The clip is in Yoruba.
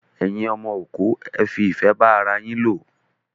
Ẹyin ọmọ òkú, ẹ fi ìfẹ́ bá ara yín lò!